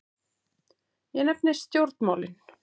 Ég nefni stjórnmálin.